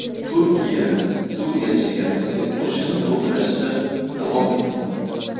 Turkiya Suriya chegarasiga qo‘shin to‘plashda davom etmoqda.